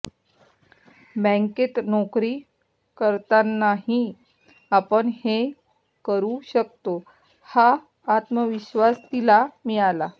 बँकेत नोकरी करतानाही आपण हे करू शकतो हा आत्मविश्वास तिला मिळाला